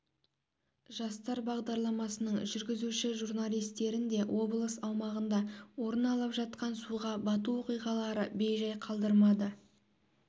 жастар бағдарламасының жүргізуші журналисттерін де облыс аумағында орын алып жатқан суға бату оқиғалары бейжай қалдырмады